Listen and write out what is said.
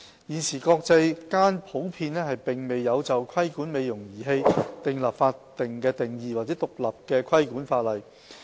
現時國際間普遍沒有就規管"美容儀器"訂立法定定義或獨立的規管法例。